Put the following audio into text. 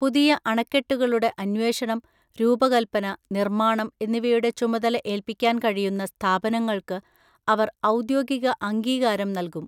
പുതിയ അണക്കെട്ടുകളുടെ അന്വേഷണം, രൂപകൽപ്പന, നിർമ്മാണം എന്നിവയുടെ ചുമതല ഏൽപ്പിക്കാൻ കഴിയുന്ന സ്ഥാപനങ്ങൾക്ക് അവർ ഔദ്യോഗിക അംഗീകാരം നൽകും.